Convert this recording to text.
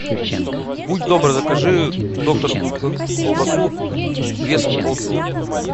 будь добр закажи докторскую колбасу весом полкило